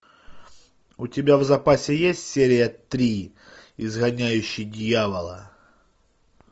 у тебя в запасе есть серия три изгоняющий дьявола